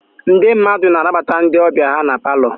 Ndị mmadụ na-anabata ndị ọbịa ha na palọ.